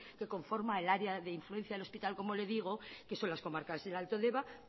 que conforma el área de influencia del hospital como le digo que son las comarcas del alto deba